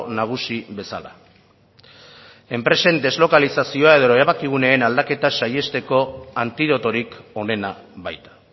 nagusi bezala enpresen deslokalizazioa edo erabakiguneen aldaketa saihesteko antidotorik onena baita